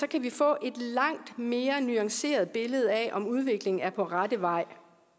kan vi få et langt mere nuanceret billede af om udviklingen er på rette vej